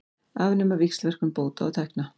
Afnema víxlverkun bóta og tekna